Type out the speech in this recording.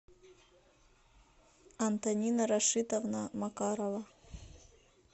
антонина рашитовна макарова